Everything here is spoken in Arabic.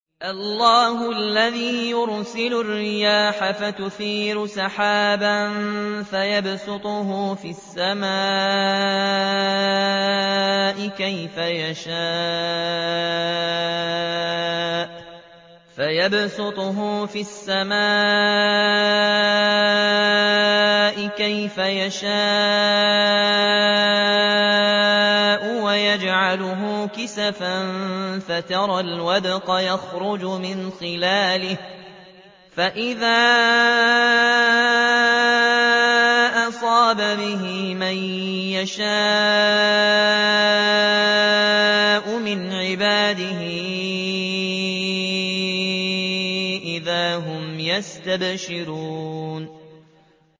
اللَّهُ الَّذِي يُرْسِلُ الرِّيَاحَ فَتُثِيرُ سَحَابًا فَيَبْسُطُهُ فِي السَّمَاءِ كَيْفَ يَشَاءُ وَيَجْعَلُهُ كِسَفًا فَتَرَى الْوَدْقَ يَخْرُجُ مِنْ خِلَالِهِ ۖ فَإِذَا أَصَابَ بِهِ مَن يَشَاءُ مِنْ عِبَادِهِ إِذَا هُمْ يَسْتَبْشِرُونَ